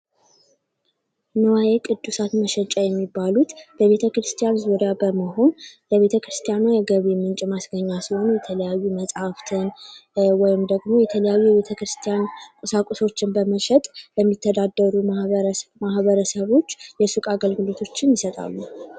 ንዋየ ቅድሳት መሸጫ የሚባሉት በቤተክርስቲያን ዙሪያ በመሆን የቤተክርስቲያን የገቢ ማስገኛ ሲሆኑ የተለያዩ መፅሐፍትን ወይም ደግሞ የተለያዩ የቤተክርስቲያን ቁሳቁሶችን በመሸጥ ለሚተዳደሩ ማህበረሰቦች የሱቅ አገልግሎት ይሰጣሉ።